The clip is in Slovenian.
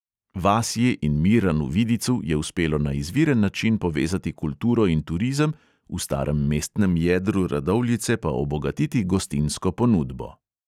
Vasji in miranu vidicu je uspelo na izviren način povezati kulturo in turizem, v starem mestnem jedru radovljice pa obogatiti gostinsko ponudbo.